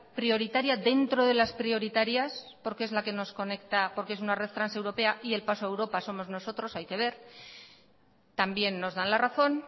prioritaria dentro de las prioritarias porque es la que nos conecta porque es una red transeuropea y el paso a europa somos nosotros hay que ver también nos dan la razón